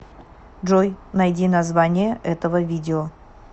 джой найди название этого видео